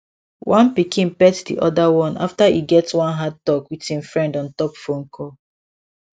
one pikin pet the other one after e get one hard talk with im friend on top phone call